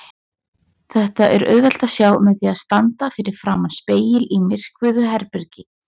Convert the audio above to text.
Þetta er auðvelt að sjá með því að standa fyrir framan spegil í myrkvuðu herbergi.